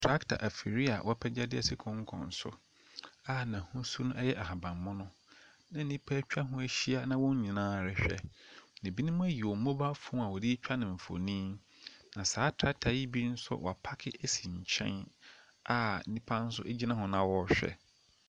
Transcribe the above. Tractor afidie a wɔapagya de asi kokkon so a n'ahosuonpo yɛ ahabammono na nnipa atwa ho ahyia, na wɔn nyinaa rehwɛ. Na binom ayi wɔn mobile phone a wɔde retwa no mfonin, na saa tractor yi bi wɔapaake asi nkyɛn a nnipa nso gyina ho na wɔrehwɛ.